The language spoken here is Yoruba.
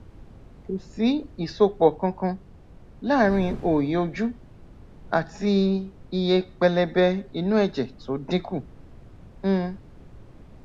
kò sí ìsopọ kankan láàárín óòyì ojú àti iye pẹlẹbẹ inú ẹjẹ tó dínkù um